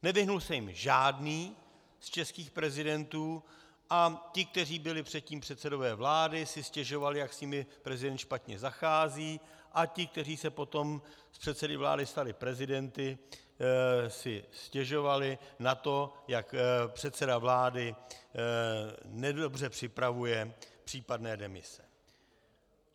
Nevyhnul se jim žádný z českých prezidentů a ti, kteří byli předtím předsedové vlády, si stěžovali, jak s nimi prezident špatně zachází, a ti, kteří se potom z předsedy vlády stali prezidenty, si stěžovali na to, jak předseda vlády nedobře připravuje případné demise.